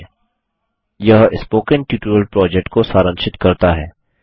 httpspoken tutorialorgWhat is a Spoken Tutorial यह spoken tutorial project को सारांशित करता है